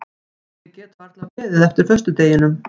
Ég get varla beðið eftir föstudeginum.